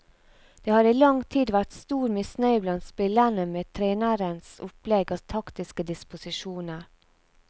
Det har i lang tid vært stor misnøye blant spillerne med trenerens opplegg og taktiske disposisjoner.